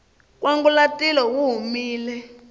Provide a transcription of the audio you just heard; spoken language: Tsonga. nkwangulatilo wu humile